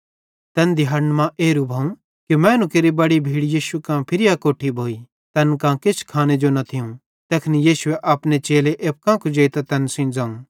तैन दिहाड़न मां एरू भोव कि मैनू केरि अक बड़ी भीड़ यीशु कां फिरी अकोट्ठी भोइ तैन कां किछ खाने जो न थियूं तैखन यीशुए अपने चेले एप्पू कां कुजेइतां तैन सेइं ज़ोवं